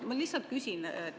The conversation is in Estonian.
Ma lihtsalt küsin.